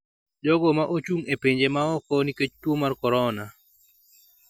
jogo ma ochung’ e pinje ma oko nikech tuo mar Korona.